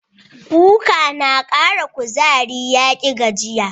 Kuka tana Ƙara kuzari, yaƙi gajiya.